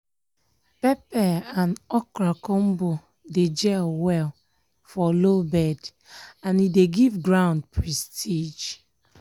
pepper and okra combo dey gel well for low bed and e dey give ground prestige.